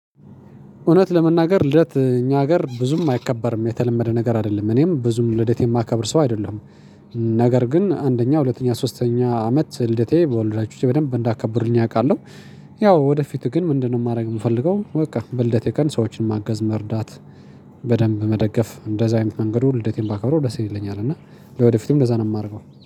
እውነት ለመናገር ልደት እኛ ሀገር ብዙም አይከበርም፤ የተለመደ ነገር አይደለም እኔም ብዙም ልደት የማከብር ሰው አይደለሁም ነገር ግን አንደኛ፣ ሁለተኛ፣ ሶስተኛ አመት ልደቴ በወላጆቼ በደንብ እንዳከበሩልኝ አውቃለሁ። ያው ወደፊት ግን ምንድነው ማድረግ የምፈልገው በቃ በልደቴ ቀን ሰዎችን ማገዝ፣ መርዳት በደንብ በመደገፍ በእንደዛ አይነት መንገድ ሁሌ ልደቴን ባከብረው ደስ ይለኛል እና ለወደፊቱም እንደዛ ነው የማደርገው።